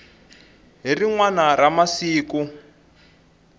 hi rin wana ra masiku